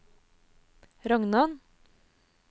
Rognan